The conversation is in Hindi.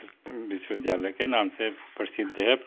विश्वविद्यालय के नाम से प्रसिद्ध है।